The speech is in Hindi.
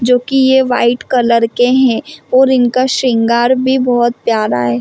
जो की ये वाइट कलर के है और इनका सिंगार भी बहुत प्यार है।